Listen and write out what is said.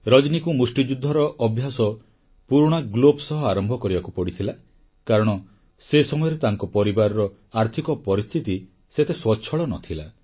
ରଜନୀକୁ ମୁଷ୍ଟିଯୁଦ୍ଧର ଅଭ୍ୟାସ ପୁରୁଣା ଗ୍ଲୋଭ୍ସ ସହ ଆରମ୍ଭ କରିବାକୁ ପଡ଼ିଥିଲା କାରଣ ସେ ସମୟରେ ତାଙ୍କ ପରିବାରର ଆର୍ଥିକ ପରିସ୍ଥିତି ସେତେ ସ୍ୱଚ୍ଛଳ ନ ଥିଲା